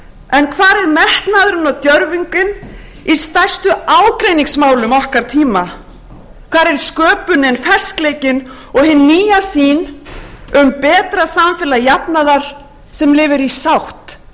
en hvar er metnaðurinn og djörfungin í stærstu ágreiningsmálum okkar tíma hvar er sköpunin ferskleikinn og hin nýja sýn um betra samfélag jafnaðarasem lifir í sátt við